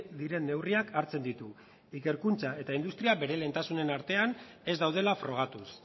diren neurriak hartzen ditu ikerkuntza eta industria bere lehentasunen artean ez daudela frogatuz